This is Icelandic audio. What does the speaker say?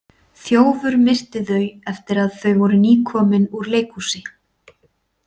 Þjófur myrti þau eftir að að þau voru nýkomin úr leikhúsi.